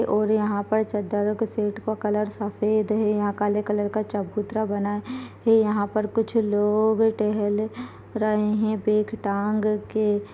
-- और यहाँ पर चद्दरों के सेट का कलर सफ़ेद है यहाँ काले कलर का चबूतरा बना है यहाँ पर कुछ लोग टहल रहे हैं बैग टांग के--